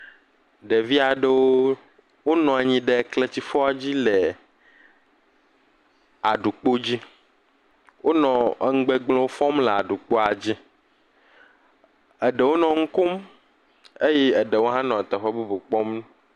Ɖevi aɖewo wonɔ anyi ɖe kletifɔ dzi le aɖukpo dzi, wonɔ enu gbegblẽwo fɔm le aɖukpoa dzi, eɖewo nɔ nu kom eye eɖewo hã nɔ teƒe bubu kpɔm.